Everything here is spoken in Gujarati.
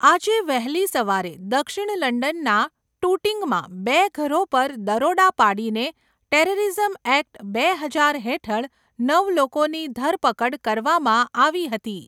આજે વહેલી સવારે, દક્ષિણ લંડનના ટૂટિંગમાં બે ઘરો પર દરોડા પાડીને ટેરરિઝમ એક્ટ બે હજાર હેઠળ નવ લોકોની ધરપકડ કરવામાં આવી હતી.